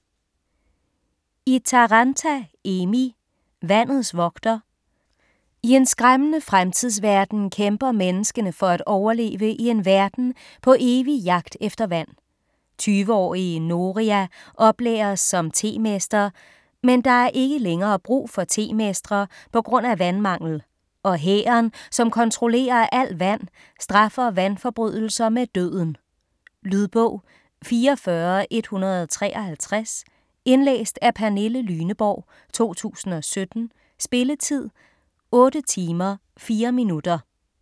Itäranta, Emmi: Vandets vogter I en skræmmende fremtidsverden kæmper menneskene for at overleve i en verden på evig jagt efter vand. 20-årige Noria oplæres som temester, men der er ikke længere brug for temestre pga. vandmangel og hæren, som kontrollerer al vand straffer vandforbrydelser med døden. Lydbog 44153 Indlæst af Pernille Lyneborg, 2017. Spilletid: 8 timer, 4 minutter.